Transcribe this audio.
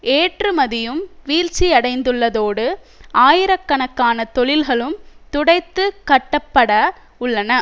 ஏற்றுமதியும் வீழ்ச்சியடைந்துள்ளதோடு ஆயிரக்கனக்கான தொழில்களும் துடைத்து கட்டப்பட உள்ளன